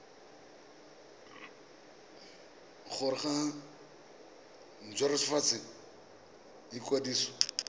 gore ba nt hwafatse ikwadiso